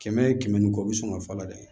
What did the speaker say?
Kɛmɛ kɛmɛ ni kɔ i bi sɔn ka falen